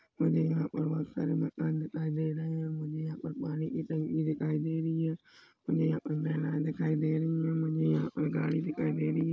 मुझे यहाँ पर बहुत सारे मकान दिखाई दे रहे है मुझे यहाँ पर पानी की टंकी दिखाई दे रही है मुझे यहाँ पर महिलाएं दिखाई दे रही हैं मुझे यहाँ पर गाड़ी दिखाई दे रही हैं।